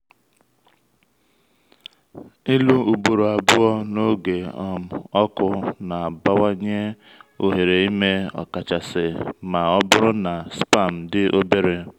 ịlụ ugboro abụọ n’oge um ọkụ na-abawanye ohere ime ọkachasị ma ọ bụrụ na sperm dị obere